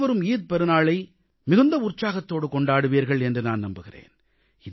அனைவரும் ஈகை பெருநாளை மிகுந்த உற்சாகத்தோடு கொண்டாடுவீர்கள் என்று நான் நம்புகிறேன்